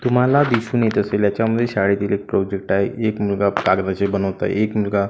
तुम्हाला दिसून येत असेल याच्यामध्ये शाळेतील एक प्रोजेक्ट आहे एक मुलगा कागदाचे बनवत आहे एक मुलगा--